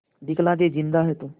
दिखला दे जिंदा है तू